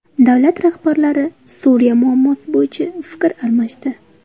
Davlat rahbarlari Suriya muammosi bo‘yicha fikr almashdi.